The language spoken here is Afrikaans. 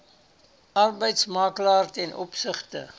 arbeidsmakelaar ten opsigte